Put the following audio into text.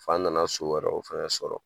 F'an nana so wɛrɛ o fɛnɛ sɔrɔ